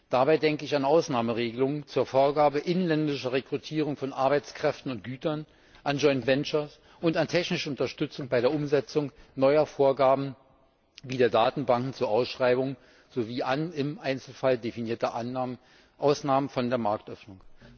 Dabei denke ich an Ausnahmeregelungen zur Vorgabe inländischer Rekrutierung von Arbeitskräften und Gütern, an Joint Ventures und an technische Unterstützung bei der Umsetzung neuer Vorgaben wie der Datenbanken zur Ausschreibung sowie an im Einzelfall definierte Ausnahmen von der Marktöffnung.